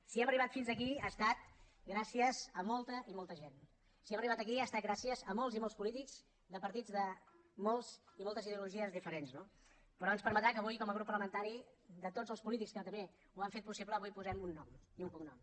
si hem arribat fins aquí ha estat gràcies a molta i molta gent si hem arribat aquí ha estat gràcies a molts i molts polítics de partits de moltes ideologies diferents no però ens permetrà que avui com a grup parlamentari de tots els polítics que també ho han fet possible avui hi posem un nom i un cognom